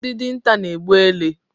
Ndị dinta na-egbu ele